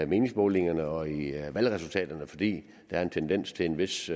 meningsmålingerne og i valgresultaterne fordi der er en tendens til en vis